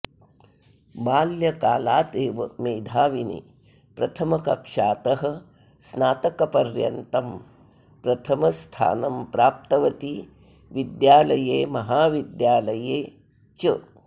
बाल्यकालादेव मेधाविनी प्रथमकक्षातः स्नातकपर्यन्तं प्रथमस्थानं प्राप्तवती विद्यालये महाविद्यालये च